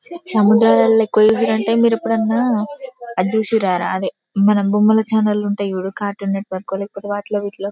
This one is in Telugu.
మీరు ఎప్పుడు ఆయన అది చూషిరారా అదే మన బొమ్మల చానెల్స్ ఉంటాయి చూడు కార్టూన్ నెట్వర్క్ లు లేకపోతె వాటిలో వీటిలో--